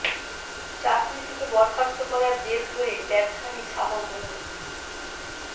চাকরি থেকে বরখাস্ত করার জের ধরে ব্যবসায়ী শাহ মো